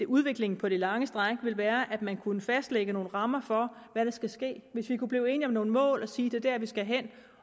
udviklingen på det lange stræk ville være at man kunne fastlægge nogle rammer for hvad der skal ske hvis vi kunne blive enige om nogle mål og sige at det er der vi skal hen